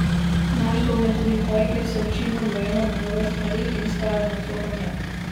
Naš dom je tudi kraj, kjer se učimo, dojemamo nove stvari in vzgajamo otroke v njem.